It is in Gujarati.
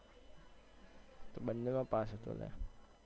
હું તો બંને માં પાસ હતો લ્યા.